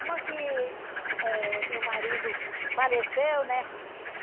Uma que eh meu marido faleceu, né?